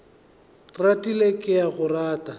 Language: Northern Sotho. ratile ke a go rata